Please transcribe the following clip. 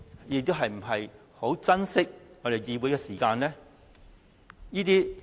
又是否十分珍惜我們議會的時間呢？